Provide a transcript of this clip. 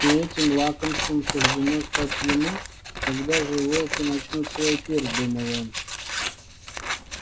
и этим лакомством суждено стать ему когда же волки начнут свой пир думал он